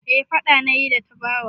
Eh faɗa na yi da Tabawa.